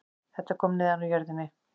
Þetta kom neðan úr jörðinni